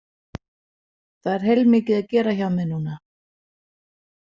Það er heilmikið að gera hjá mér núna.